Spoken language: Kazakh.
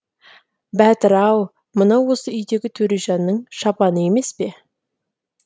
бәтір ау мынау осы үйдегі төрежанның шапаны емес пе